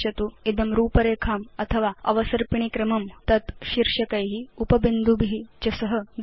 इदं रूपरेखाम् अथवा अवसर्पिणी क्रमं तत् शीर्षकै उप बिन्दुभि च सह दर्शयति